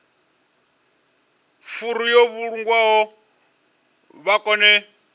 furu yo vhulungwaho vha kone